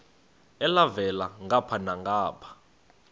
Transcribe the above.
elhavela ngapha nangapha